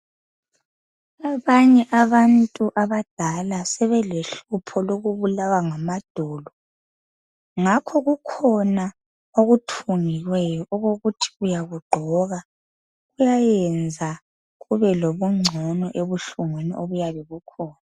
Abanye abantu abadala sebelohlupho lokubulawa ngamadolo ngakho kukhona okuthungiweyo okokuthi uyakugqoka kuyayenza ube lobuncono ebuhlungwini obuyabe bukhona.